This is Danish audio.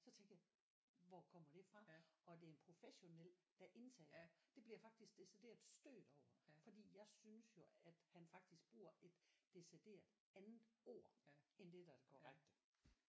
Så tænkte jeg hvor kommer det fra? Og det er en professionel der indtaler det bliver jeg faktisk decideret stødt over fordi jeg synes jo at han faktisk bruger et decideret andet ord end det der er det korrekte